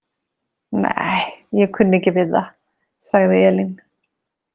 Nei, ég kunni ekki við það, sagði Elín.